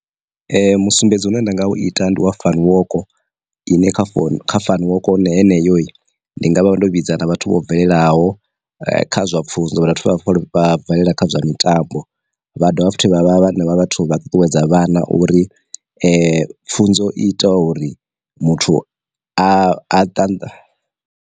Musumbedzi une nda nga ita ndi wa fani woko, ine kha founu kha fani woko yeneyi, ndi nga vha vha ndo vhidza na vhathu vho bvelelaho kha zwa pfunzo vhathu vha vhofholowe bvelela kha zwa mitambo, vha dovha futhi vha vha vha vhathu vha ṱuṱuwedza vhana uri pfunzo ita uri muthu a a ṱanḓa.